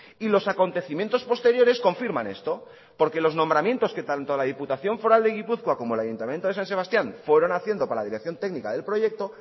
y los acontecimientos posteriores confirman esto porque los nombramientos que tanto la diputación foral de gipuzkoa como el ayuntamiento de san sebastián fueron haciendo para la dirección técnica del proyecto